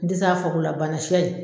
N de se a fɔ ko la bana